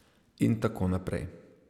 In tako naprej.